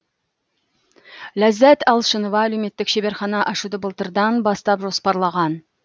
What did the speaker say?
ляззат алшынова әлеуметтік шеберхана ашуды былтырдан бастап жоспарлаған